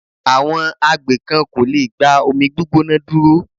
Àwọn agbè kan kò lẹ̀ gba omi gbígbóná dúró.